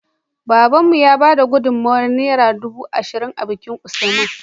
Babanmu ya bada gudun mawayar naira dubu ashirin a bikin usman